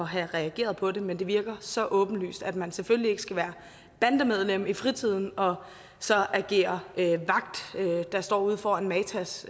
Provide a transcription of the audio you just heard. have reageret på det men det virker så åbenlyst at man selvfølgelig ikke skal være bandemedlem i fritiden og så agere vagt der står ude foran matas